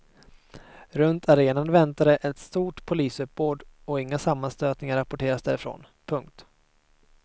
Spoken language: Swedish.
Runt arenan väntade ett stort polisuppbåd och inga sammanstötningar rapporterades därifrån. punkt